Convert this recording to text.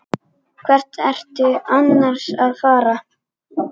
Hvert ertu annars að fara?